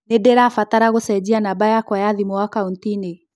Nĩ ndĩrabatara gũcenjia namba yakwa ya thimũ akaũnti-inĩ.